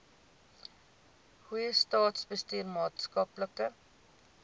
goeie staatsbestuur maatskaplike